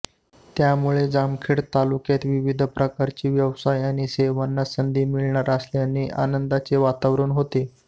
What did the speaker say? त्यामुळे जामखेड तालुक्यात विविध प्रकारचे व्यावसाय आणि सेवांना संधी मिळणार असल्याने आनंदाचे वातावरण होते